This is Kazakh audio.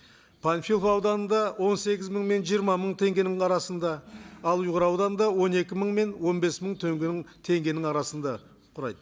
панфилов ауданында он сегіз мың мен жиырма мың теңгенің арасында ал ұйғыр ауданында он екі мың мен он бес мың теңгенің арасында құрайды